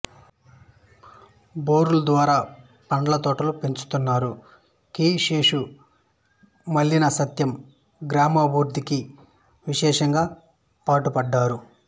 బోర్ల ద్వారా పండ్ల తోటలు పెంచుతున్నారు కీ శే మల్లిన సత్యం గ్రామాభివ్రుధ్ధికి విశేషంగా పాటుపడ్డారు